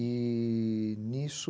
E.. nisso,